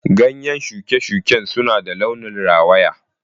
Ganyen shuke-shuken suna da launin rawaya.